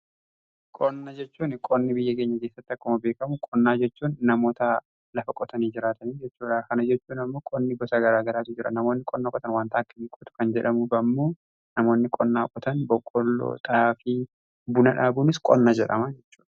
qonna jechuun qonni biyya keenya keessatti akkuma beekamu qonnaa jechuun namoota lafa qotanii jiraatanii jechuudha. kana jechuun ammoo qonni gosa garaa garaatu jira. namoonni qonnaa qotan wantaa akkami qotu kan jedhamuuf ammoo namoonni qonnaa qotan boqqolloo, xaafii fi buna dhaabuunis qonna jedhama.